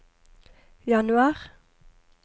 januar